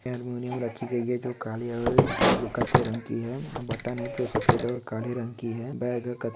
harmonium रखी गयी है जो काले और ब्लू कत्थे रंग की है बटन है जो सफ़ेद और काले रंग की है बैग --